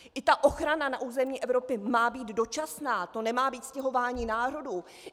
I ta ochrana na území Evropy má být dočasná, to nemá být stěhování národů.